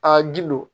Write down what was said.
Aa gindo